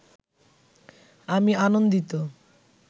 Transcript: আমি আনন্দিত